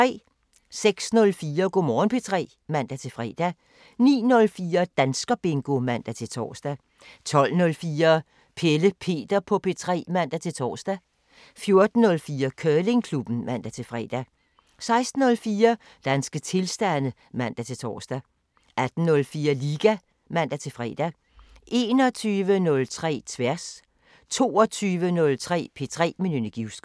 06:04: Go' Morgen P3 (man-fre) 09:04: Danskerbingo (man-tor) 12:04: Pelle Peter på P3 (man-tor) 14:04: Curlingklubben (man-fre) 16:04: Danske tilstande (man-tor) 18:04: Liga (man-fre) 21:03: Tværs 22:03: P3 med Nynne Givskov